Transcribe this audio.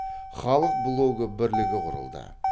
халық блогы бірлігі құрылды